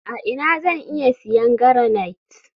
a ina zan iya siyan garanite?